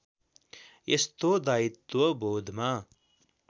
यस्तो दायित्वबोधमा